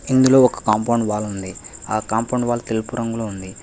ఇందులో ఒక compound wall ఉంది ఆ కాంపౌండ్ వాల్ తెలుపు రంగులో ఉంది.